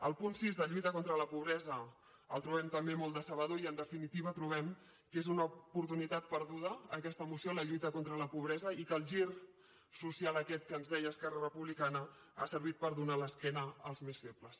el punt sis la lluita contra la pobresa el trobem també molt decebedor i en definitiva trobem que és una oportunitat perduda aquesta moció la lluita contra la pobresa i que el gir social aquest que ens deia esquerra republicana ha servit per donar l’esquena als més febles